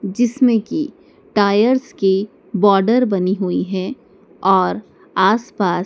जिसमें की टायर्स की बॉर्डर बनी हुई है और आस पास--